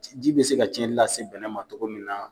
Ji ji bɛ se ka cɛnni lase bɛnɛ ma cogo min na.